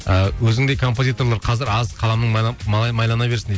ы өзіңдей композиторлар қазір аз қаламың майлана берсін дейді